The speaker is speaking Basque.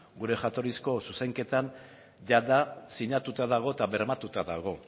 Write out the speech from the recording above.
gure jatorrizko zuzenketan jada sinatuta dago eta bermatuta dago